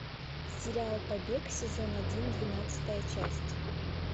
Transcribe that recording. сериал побег сезон один двенадцатая часть